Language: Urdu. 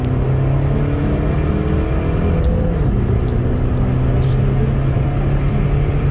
ایک حیرت انگیز افریقی امریکی استاد اور شہری حقوق کارکن